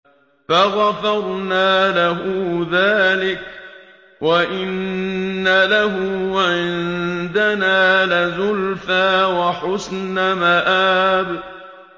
فَغَفَرْنَا لَهُ ذَٰلِكَ ۖ وَإِنَّ لَهُ عِندَنَا لَزُلْفَىٰ وَحُسْنَ مَآبٍ